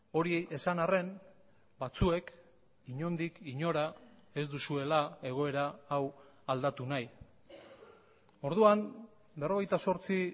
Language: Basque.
hori esan arren batzuek inondik inora ez duzuela egoera hau aldatu nahi orduan berrogeita zortzi